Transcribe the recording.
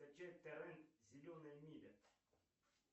скачать торрент зеленая миля